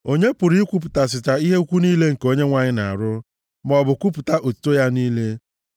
Onye pụrụ ikwupụtasịcha ihe ukwu niile nke Onyenwe anyị na-arụ maọbụ kwupụta otuto ya niile?